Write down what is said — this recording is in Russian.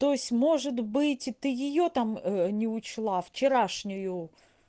то есть может быть ты её там не учла вчерашнюю